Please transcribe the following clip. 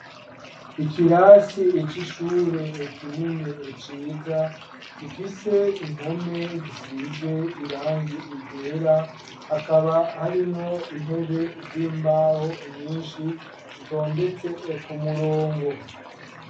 Ikirasi cishure kinini ciza gifise impome zisize irangi ryera hakaba harimwo intebe z'imbaho nyinshi zitondetse ku murongo.